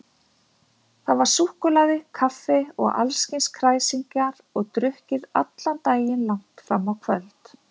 Þar var súkkulaði, kaffi og allskyns kræsingar og drukkið allan daginn langt fram á kvöld.